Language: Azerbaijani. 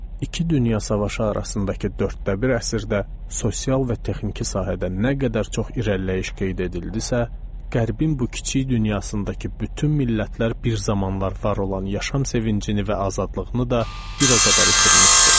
İki dünya savaşı arasındakı dörddə bir əsrdə sosial və texniki sahədə nə qədər çox irəliləyiş qeyd edildisə, Qərbin bu kiçik dünyasındakı bütün millətlər bir zamanlar var olan yaşam sevincini və azadlığını da bir o qədər itirmişdi.